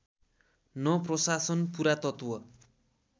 न प्रशासन पुरातत्त्व